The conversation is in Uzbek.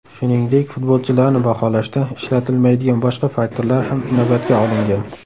Shuningdek, futbolchilarni baholashda ishlatilmaydigan boshqa faktorlar ham inobatga olingan.